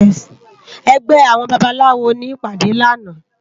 Ègbè áwòn bàbáláwó ni ipàdé làná